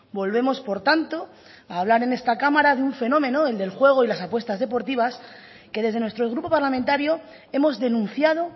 volvemos por tanto a hablar en esta cámara de un fenómeno el del juego y las apuestas deportivas que desde nuestro grupo parlamentario hemos denunciado